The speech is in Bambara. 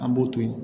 An b'o to yen